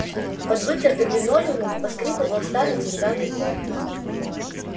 под вытертым линолеумом поскрипывал старый деревянный пол